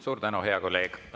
Suur tänu, hea kolleeg!